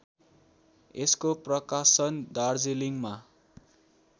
यसको प्रकाशन दार्जिलिङमा